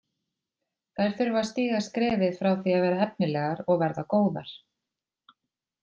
Þær þurfa að stíga skrefið frá því að vera efnilegar og verða góðar.